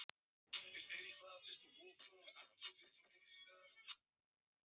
En þegar þangað kom var Steinunn ekki heima.